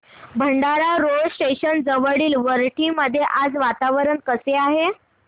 Bhandara road station जवळील वरठी मध्ये आज वातावरण कसे आहे